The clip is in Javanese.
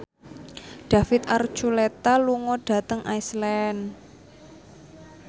David Archuletta lunga dhateng Iceland